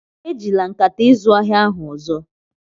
Ejila nkata izu ahịa ahụ ọzọ!